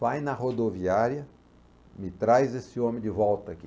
Vai na rodoviária, me traz esse homem de volta aqui.